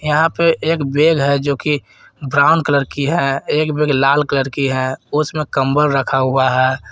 यहां पे एक बेग है जो कि ब्राउन कलर की है एक बेग लाल कलर की है उसमें कंबल रखा हुआ है।